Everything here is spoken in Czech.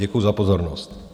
Děkuji za pozornost.